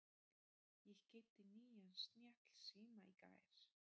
Ég keypti nýjan snjallsíma í gær.